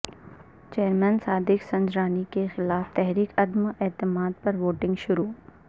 chairman Sadiq Sanjrani کیخلاف تحریک عدم اعتماد پر ووٹنگ شروع